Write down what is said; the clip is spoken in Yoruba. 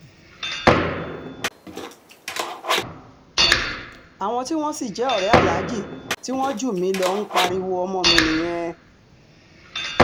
àwọn tí wọ́n sì jẹ́ ọ̀rẹ́ aláàjì tí wọ́n jù mí lọ ń pariwo ọmọ mi nìyẹn